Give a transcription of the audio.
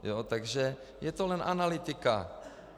Takže je to jen analytika.